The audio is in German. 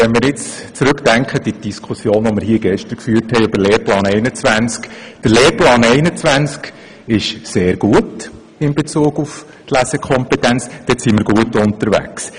Denken wir zurück an unsere gestrige Diskussion über den Lehrplan 21: Der Lehrplan 21 ist in Bezug auf die Lesekompetenz sehr gut, dort sind wir sehr gut unterwegs.